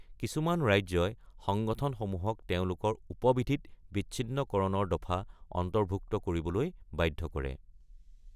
কিছুমান ৰাজ্যই সংগঠনসমূহক তেওঁলোকৰ উপ-বিধিত বিচ্ছিন্নকৰণৰ দফা অন্তৰ্ভুক্ত কৰিবলৈ বাধ্য কৰে।